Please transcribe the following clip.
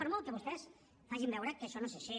per molt que vostès facin veure que això no és així